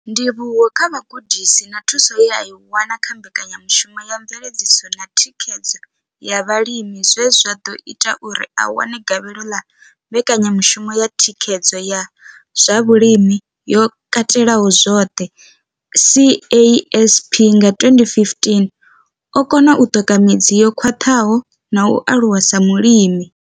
Ndivhuwo kha vhugudisi na thuso ye a i wana kha mbekanyamushumo ya mveledziso na thikhedzo ya vhalimi zwe zwa ḓo ita uri a wane gavhelo ḽa mbekanyamushumo ya thikhedzo ya zwa vhulimi yo katelaho zwoṱhe CASP nga 2015, o kona u ṱoka midzi yo khwaṱhaho na u aluwa sa mulimi.